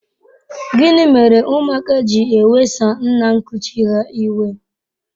Gịnị mere ụmụaka ji ewesa nna nkuchi ha iwe?